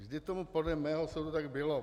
Vždy tomu podle mého soudu tak bylo.